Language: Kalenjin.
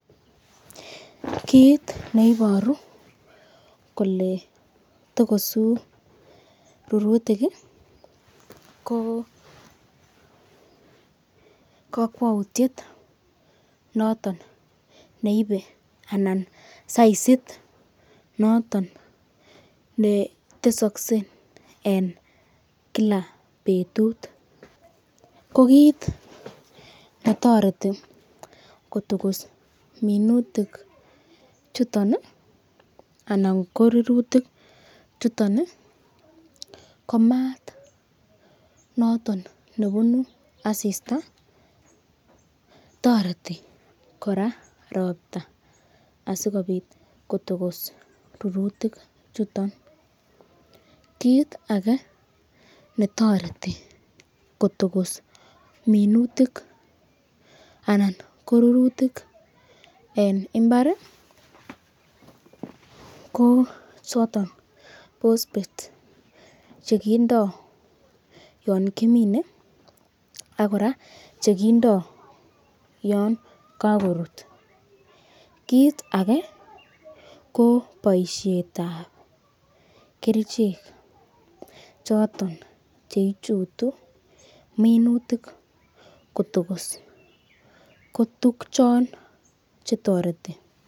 Kit neiboru kole tokosu rurutik ko kakwoutiet noton neibe anan saisit noton netesokse en kila betut. Ko kit netoreti kotokos minutik chuton anan ko rurutik chuton ko maat noton nebune asista. Toreti kora ropta asikobit kotokos rurutik chuto. Kiit age netoreti kotokos minutik anan ko rurutik en mbar ko choto bosbet che kindo yon kimine ak kora che kindo yon kagorut. Kiit age ko boisietab kerichek choto che ichutu minutik kotogos kotuguk chon che toreti.